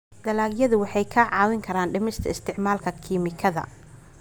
Dalagyadu waxay kaa caawin karaan dhimista isticmaalka kiimikada.